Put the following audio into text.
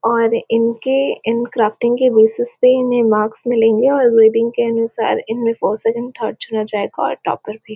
और इनके इन क्राफ्टिंग के बेसिस पे इन्हें मार्क्स मिलेंगे और के अनुसार इनमे फॉर सेकंड थर्ड चुना जाएगा और टॉपर भी--